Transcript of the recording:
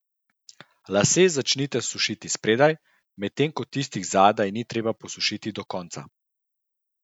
Lase začnite sušiti spredaj, medtem ko tistih zadaj ni treba posušiti do konca.